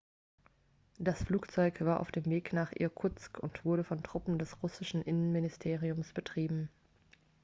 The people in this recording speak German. das flugzeug war auf dem weg nach irkutsk und wurde von truppen des russischen innenministeriums betrieben